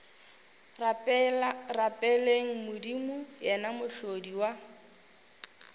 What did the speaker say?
rapeleng modimo yena mohlodi wa